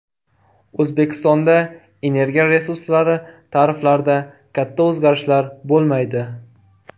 O‘zbekistonda energiya resurslari tariflarida katta o‘zgarishlar bo‘lmaydi.